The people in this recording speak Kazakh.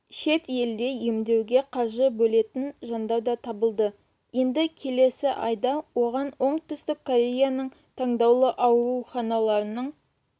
шетелде емдетуге қаржы бөлетін жандар да табылды енді келесі айда оған оңтүстік кореяның таңдаулы ауруханаларының